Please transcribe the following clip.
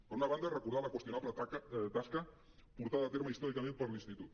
per una banda recordar la qüestionable tasca portada a terme històricament per l’institut